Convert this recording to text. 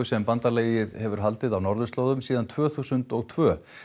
sem bandalagið hefur haldið á norðurslóðum síðan tvö þúsund og tvö